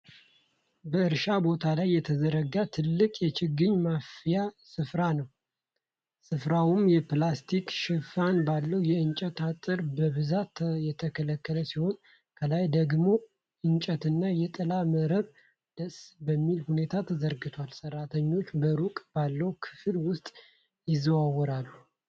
በእርሻ ቦታ ላይ የተዘረጋ ትልቅ የችግኝ ማፍያ ስፍራን ነው። ስፍራው የፕላስቲክ ሽፋን ባለው የእንጨት አጥር በብዛት የተከለለ ሲሆን ከላይ ደግሞ እንጨትና የጥላ መረብ ደስ በሚል ሁኔታ ተዘርግቷል። ሠራተኞች በሩቅ ባለው ክፍል ውስጥ ይዘዋወራሉ።